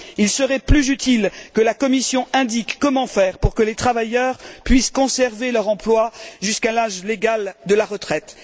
Il serait plus utile que la Commission indique comment faire pour que les travailleurs puissent conserver leur emploi jusqu'à l'âge légal de la retraite.